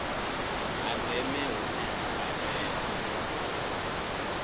ha ndeme hune ha katela